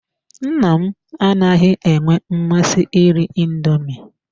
Nna m anaghị enwe mmasị iri indoomi.